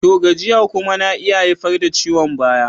To! gajiya kuma na iya haifar da ciwon baya.